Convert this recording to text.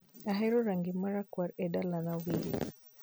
Ahero rangi marakwar edalana wil